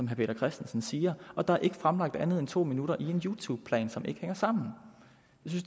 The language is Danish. peter christensen siger og der er ikke fremlagt andet end to minutter i en youtube plan som ikke hænger sammen